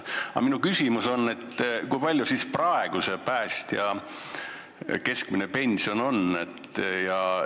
Aga minu küsimus on: kui suur on praegu päästja keskmine pension?